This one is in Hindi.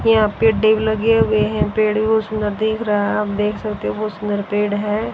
यहाँ पेड़े भी लगे हुए है पेड़ भीं बहोत सुंदर दिख रहा आप देख सकते हो बहोत सुंदर पेड़ हैं।